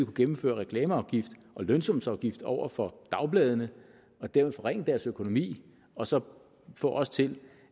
gennemføre reklameafgift og lønsumsafgift over for dagbladene og dermed forringe deres økonomi og så få os til